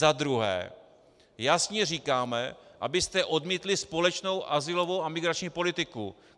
Za druhé, jasně říkáme, abyste odmítli společnou azylovou a migrační politiku.